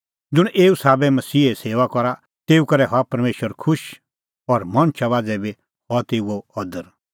ज़ुंण एऊ साबै मसीहे सेऊआ करा तेऊ करै हआ परमेशर खुश और मणछा मांझ़ै बी हआ तेऊओ अदर